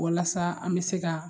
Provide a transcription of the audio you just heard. Walasa an bɛ se ka